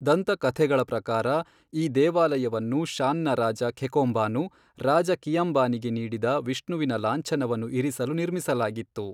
ದಂತಕಥೆಗಳ ಪ್ರಕಾರ, ಈ ದೇವಾಲಯವನ್ನು ಶಾನ್ನ ರಾಜ ಖೆಖೋಂಬಾನು ರಾಜ ಕಿಯಂಬಾನಿಗೆ ನೀಡಿದ ವಿಷ್ಣುವಿನ ಲಾಂಛನವನ್ನು ಇರಿಸಲು ನಿರ್ಮಿಸಲಾಗಿತ್ತು.